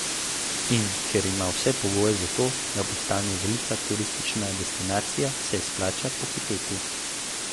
In ker ima vse pogoje za to, da postane velika turistična destinacija, se splača pohiteti.